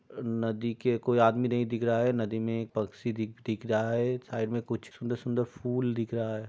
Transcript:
नदी के कोई आदमी नहीं दिख रहा है। नदी में एक पक्षी दि - दिख रहा है। साइड में कुछ सुन्दर - सुन्दर फूल दिख रहा है।